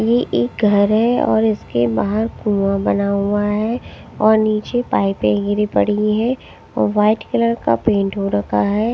ये एक घर है और इसके बाहर कुआं बना हुआ हैं और नीचे पाइपे गिरी पड़ी हुईं हैं व्हाइट कलर का पेंट हो रखा हैं।